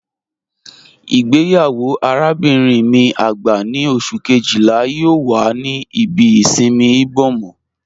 Igbeyawo arábinrin mi agbá ni Ọṣù kejìlá yoo wà ní ìbí ìṣinmí Ìbòmọ́